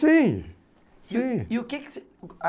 Sim.